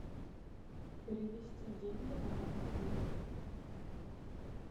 перевести деньги на мой мобильный